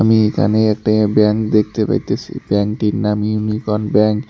এখানে একটা ব্যাংক দেখতে পাইতেছি ব্যাংকটির নাম ইউনিকন ব্যাংক ।